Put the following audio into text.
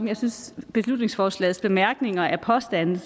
jeg synes at beslutningsforslagets bemærkninger er påstande